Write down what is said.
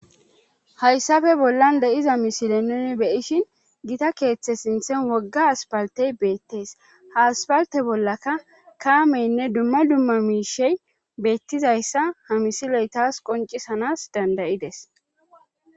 haysape bollan de7iza misile nuuni be7ishin gita keethe sinthen wogga aspalte beettes ha aspaltte bollaka kaameenne dumma dumma miishshey beettizayssa ha misilee tas qonccisanas dandda7ides.